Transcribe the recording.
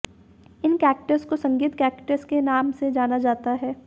इन cactus को Sangeet cactus के नाम से जाना जाता है